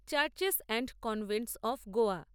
churches and convents of Goa